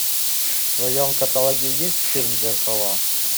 в твоем каталоге есть фильм зеркала